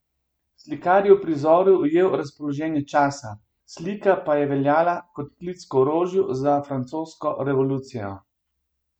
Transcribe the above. Slikar je v prizoru ujel razpoloženje časa, slika pa je veljala kot klic k orožju za francosko revolucijo.